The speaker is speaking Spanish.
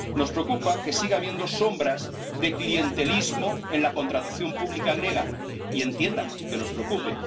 Nos preocupa que siga habiendo sombras de clientelismo en la contratación pública griega, y entienda que nos preocupe.